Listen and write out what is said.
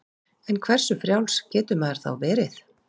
En hversu frjáls getur maður þá verið?